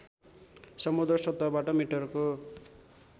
समुद्र सतहबाट मिटरको